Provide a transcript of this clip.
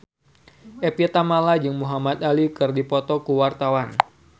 Evie Tamala jeung Muhamad Ali keur dipoto ku wartawan